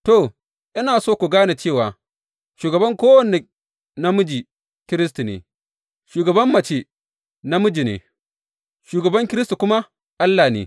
To, ina so ku gane cewa shugaban kowane namiji Kiristi ne, shugaban mace namiji ne, shugaban Kiristi kuma Allah ne.